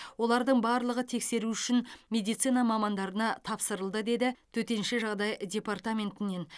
олардың барлығы тексеру үшін медицина мамандарына тапсырылды деді төтенше жағдай департаментінен